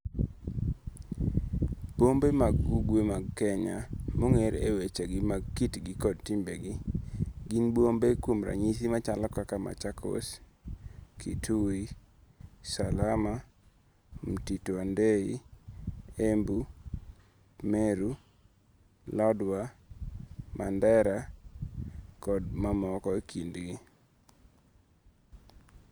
Bombe mag ugwe mag Kenya, monge're e wechegi mag kitgi kod timbegi, gin bombe kuom ranyisi machalo kaka Machakos, Kitui, Salama, Mtito wa ndei, Embu, Meru, Lodwa, Mandera kod mamoko e kindgi.